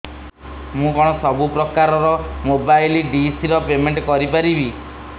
ମୁ କଣ ସବୁ ପ୍ରକାର ର ମୋବାଇଲ୍ ଡିସ୍ ର ପେମେଣ୍ଟ କରି ପାରିବି